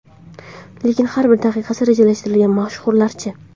Lekin har bir daqiqasi rejalashtirilgan mashhurlar-chi?